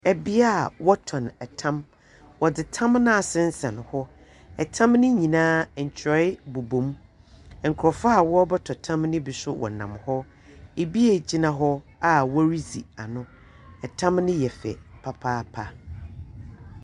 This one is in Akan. Bea a wɔtɔn tam. Wɔdze tam no asensɛn hɔ. Tam no nyinaa, ntwerɛe bobɔ mu. Nkurɔfoɔ a wɔrobɔtɔ tam no bi nso nam hɔ. Ebi egyina hɔ a woridzi ano. Tam no yɛ fɛ papaapa.